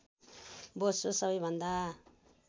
बोसो सबैभन्दा